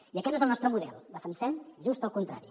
i aquest no és el nostre model defensem just el contrari